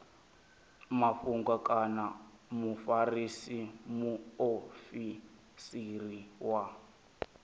mafhungo kana mufarisa muofisiri wa